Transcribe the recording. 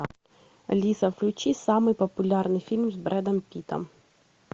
алиса включи самый популярный фильм с брэдом питтом